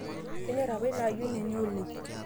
kenyor apa ina ayioni enye oleng